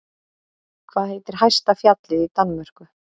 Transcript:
Hvað heitir hæsta fjallið í Danmörku?